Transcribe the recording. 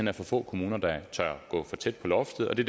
er for få kommuner der tør gå tæt på loftet og det